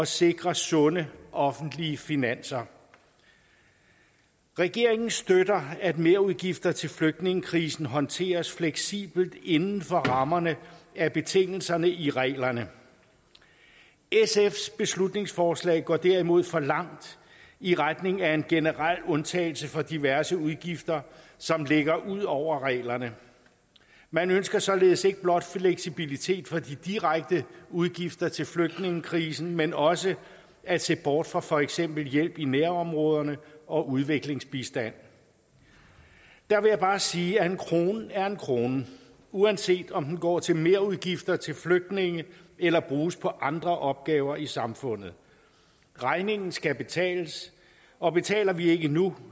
sikre sunde offentlige finanser regeringen støtter at merudgifter til flygtningekrisen håndteres fleksibelt inden for rammerne af betingelserne i reglerne sfs beslutningsforslag går derimod for langt i retning af en generel undtagelse for diverse udgifter som ligger ud over reglerne man ønsker således ikke blot fleksibilitet for de direkte udgifter til flygtningekrisen men også at se bort fra for eksempel hjælp i nærområderne og udviklingsbistand der vil jeg bare sige at en krone er en krone uanset om den går til merudgifter til flygtninge eller bruges på andre opgaver i samfundet regningen skal betales og betaler vi ikke nu